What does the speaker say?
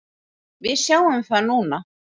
Við sjáum það núna.